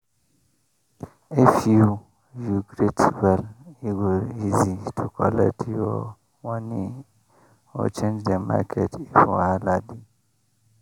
if you you greet well e go easy to collect your moni or change the market if wahala dey.